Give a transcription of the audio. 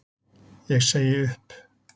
Ég segi upp!